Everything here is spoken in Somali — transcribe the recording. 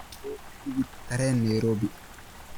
buug tigidh tareen nairobi